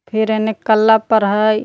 फिर एने कला पर हई।